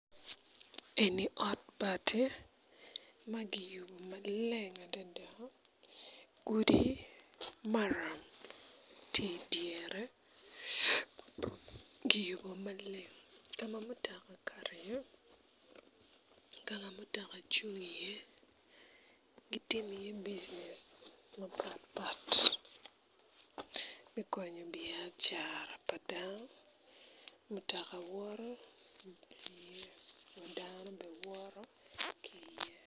Eni ot bati ma giyubo malen adada gudi maram ti dyere giyubo maleng ka ma mutaka kato iye ka ma mutaka cung iye gitimi iye bijinec mapat pat me konyo biacara pa dano mutaka woto dano be woto ki iye